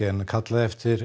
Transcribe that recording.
en kallað eftir